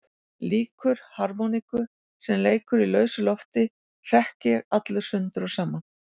Líkur harmoníku sem leikur í lausu lofti hrekk ég allur sundur og saman.